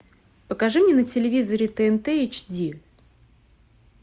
покажи мне на телевизоре тнт эйч ди